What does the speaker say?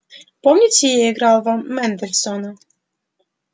помните я играл вам мендельсона